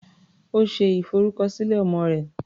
Ó ṣe ìfọrúkọsílẹ̀ ọmọ rẹ̀.